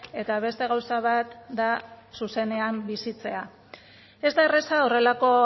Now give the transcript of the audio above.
eta beste gauza bat da zuzenean bizitzea ez da erraza horrelako